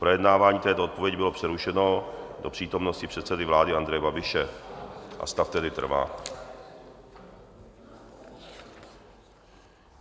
Projednávání této odpovědi bylo přerušeno do přítomnosti předsedy vlády Andreje Babiše, a stav tedy trvá.